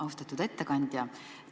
Austatud ettekandja!